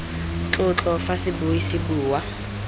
tlotlo fa sebui se bua